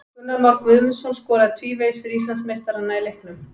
Gunnar Már Guðmundsson skoraði tvívegis fyrir Íslandsmeistarana í leiknum.